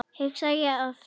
hugsaði ég oft.